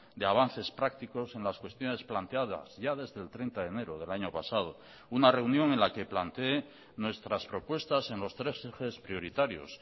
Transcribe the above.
de avances prácticos en las cuestiones planteadas ya desde el treinta de enero del año pasado una reunión en la que planteé nuestras propuestas en los tres ejes prioritarios